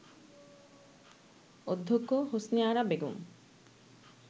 অধ্যক্ষ হোসনে আরা বেগম